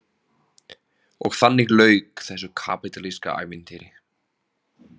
Og þannig lauk þessu kapítalíska ævintýri.